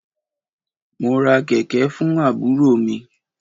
Mo ra kẹ̀kẹ̀ fún àbúrò mi.